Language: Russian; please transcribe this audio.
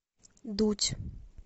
дудь